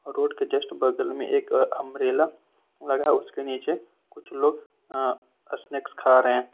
road के just बगल में एक अंब्रेला लगा उसके नीचे कुछ लोग अ स्नेक्स खा रहे--